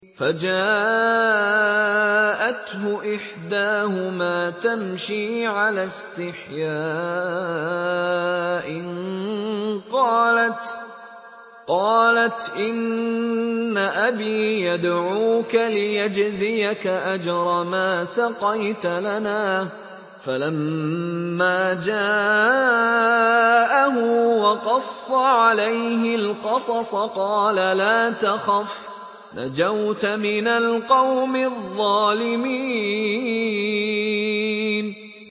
فَجَاءَتْهُ إِحْدَاهُمَا تَمْشِي عَلَى اسْتِحْيَاءٍ قَالَتْ إِنَّ أَبِي يَدْعُوكَ لِيَجْزِيَكَ أَجْرَ مَا سَقَيْتَ لَنَا ۚ فَلَمَّا جَاءَهُ وَقَصَّ عَلَيْهِ الْقَصَصَ قَالَ لَا تَخَفْ ۖ نَجَوْتَ مِنَ الْقَوْمِ الظَّالِمِينَ